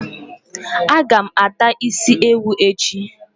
Aga m ata isi ewu echi